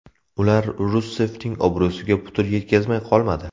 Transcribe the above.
Ular Russeffning obro‘siga putur yetkazmay qolmadi.